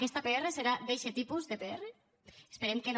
aquesta pr serà d’eixe tipus de pr esperem que no